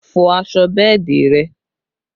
Fọ aṣọ bẹ́ẹ̀dì rẹ!